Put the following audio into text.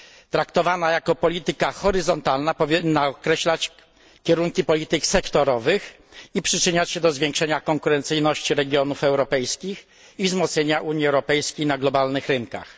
Traktowana jako polityka horyzontalna powinna określać kierunki polityk sektorowych i przyczyniać się do zwiększenia konkurencyjności regionów europejskich i wzmocnienia Unii Europejskiej na globalnych rynkach.